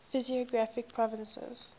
physiographic provinces